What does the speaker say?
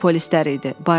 Bu polislər idi.